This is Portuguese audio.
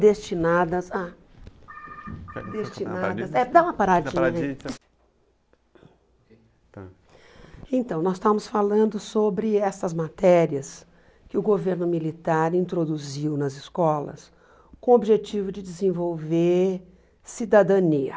destinadas a destinadas, é dá uma paradinha... Então, nós estávamos falando sobre essas matérias que o governo militar introduziu nas escolas com o objetivo de desenvolver cidadania.